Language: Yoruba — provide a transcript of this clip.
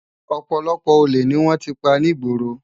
Òpòlòpò ólé ni wòn ti pá nigbóró